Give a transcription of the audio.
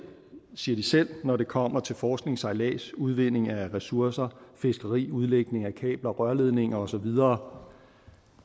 siger de selv når det kommer til forskning sejlads udvinding af ressourcer fiskeri udlægning af kabler og rørledninger og så videre